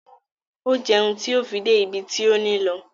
O jẹun ti o fi dé ibi ti o ni lọ